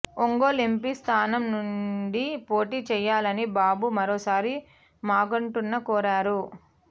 Ongole MP స్థానం నుండి పోటీ చేయాలని బాబు మరోసారి మాగుంటను కోరారు